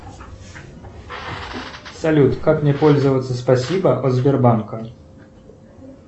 салют как мне пользоваться спасибо от сбербанка